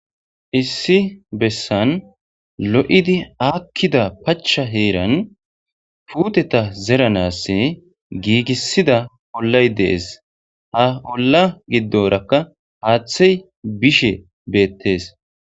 issi bessan lo7idi aakkida pacha heeran puuteta zeranass giigissida ollay dees ha olla giddorakka haaththey bishe beettees